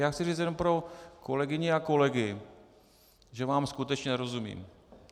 Já chci říct jenom pro kolegyně a kolegy, že vám skutečně nerozumím.